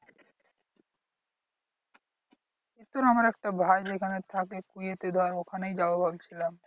আমার একটা ভাই ওখানে থাকে কুয়েতে ধর ওখানেই যাবো ভাবছিলাম।